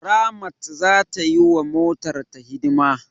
Ramat za ta yi wa motarta hidima.